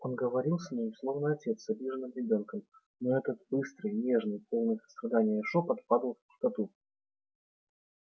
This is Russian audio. он говорил с ней словно отец с обиженным ребёнком но этот быстрый нежный полный сострадания шёпот падал в пустоту